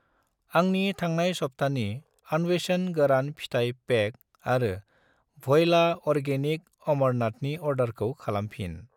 आंनि थांनाय सबथानि आनवेशन गोरान फिथाइ पेक आरो व'यला अरगेनिक अमरनाथनि अर्डारखौ खालामफिन।